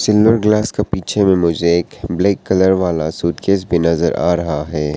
इन दोनों गिलास के पीछे में मुझे एक ब्लैक कलर वाला सूट केस भी नजर आ रहा है।